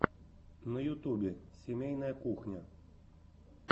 на ютубе семейная кухня